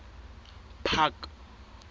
park